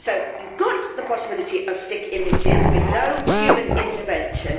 You have got the possibility of stick images with no human intervention.